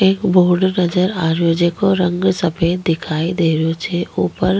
क बोर्ड नजर आ रेहो जेको रंग सफ़ेद दिखाई दे रेहो छे ऊपर --